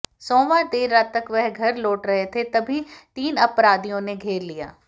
सोमवार देर रात वह घर लौट रहे थे तभी तीन अपराधियों ने घेर लिया